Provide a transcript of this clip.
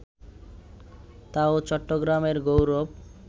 তা-ও চট্টগ্রামের গৌরব